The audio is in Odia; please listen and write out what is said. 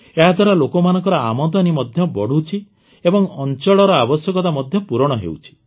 ଏହାଦ୍ୱାରା ଲୋକମାନଙ୍କର ଆମଦାନୀ ମଧ୍ୟ ବଢ଼ୁଛି ଏବଂ ଅଞ୍ଚଳର ଆବଶ୍ୟକତା ମଧ୍ୟ ପୂରଣ ହେଉଛି